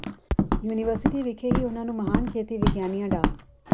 university ਵਿਖੇ ਹੀ ਉਨਾਂ ਨੂੰ ਮਹਾਨ ਖੇਤੀ ਵਿਗਿਆਨੀਆਂ ਡਾ